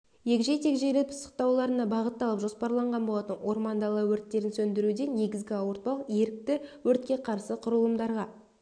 егжей-тегжейлі пысықтауларына бағытталып жоспарланған болатын орман дала өрттерін сөндіруде негізгі ауыртпалық ерікті өртке қарсы құралымдарға